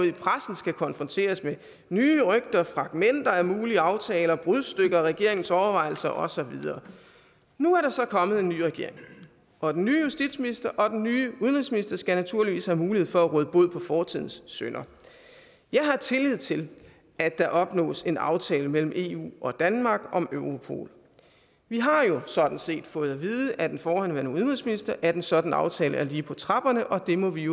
i pressen skal konfronteres med nye rygter og fragmenter af mulige aftaler brudstykker af regeringens overvejelser og så videre nu er der så kommet en ny regering og den nye justitsminister og den nye udenrigsminister skal naturligvis have mulighed for at råde bod på fortidens synder jeg har tillid til at der opnås en aftale mellem eu og danmark om europol vi har jo sådan set fået at vide af den forhenværende udenrigsminister at en sådan aftale er lige på trapperne og det må vi